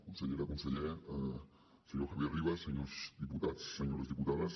consellera conseller senyor javier rivas senyors diputats senyores diputades